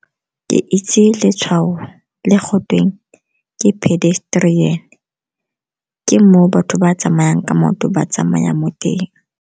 Ke itse letshwao le go tweng ke pedestrian, ke mo o batho ba tsamayang ka maoto ba tsamaya mo teng.